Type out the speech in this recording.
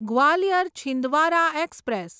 Gwalior Chhindwara express